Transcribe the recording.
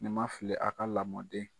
Ni ma fili a ka lamɔden.